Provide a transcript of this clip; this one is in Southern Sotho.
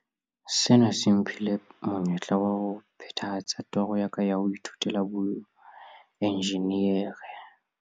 "Sena se mphile monyetla wa ho phethahatsa toro ya ka ya ho ithutela boenjinere."